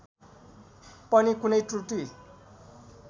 पनि कुनै त्रुटी